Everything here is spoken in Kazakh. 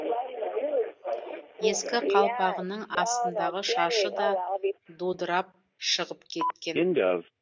ескі қалпағының астындағы шашы да дудырап шығып кеткен